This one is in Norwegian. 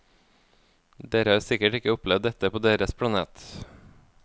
Dere har sikkert ikke opplevd dette på deres planet.